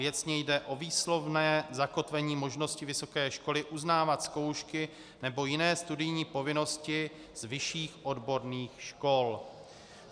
Věcně jde o výslovné zakotvení možnosti vysoké školy uznávat zkoušky nebo jiné studijní povinnosti z vyšších odborných škol.